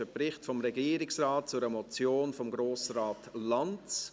Es handelt sich um einen Bericht des Regierungsrates zu einer Motion von Grossrat Lanz